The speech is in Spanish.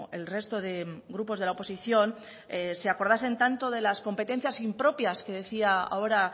el resto de grupos de la oposición se acordasen tanto de las competencias impropias que decía ahora